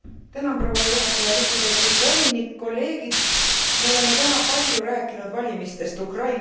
Me oleme täna palju rääkinud valimistest Ukrainas, ka valikulisest kohtumõistmisest.